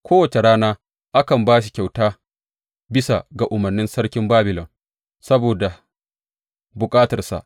Kowace rana akan ba shi kyauta bisa ga umarnin sarkin Babilon, saboda bukatarsa.